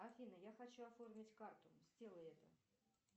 афина я хочу оформить карту сделай это